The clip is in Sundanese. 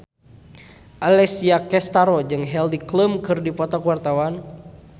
Alessia Cestaro jeung Heidi Klum keur dipoto ku wartawan